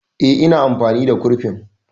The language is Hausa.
Eh, ina amfani da kurfin